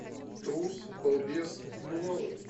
трус балбес и бывалый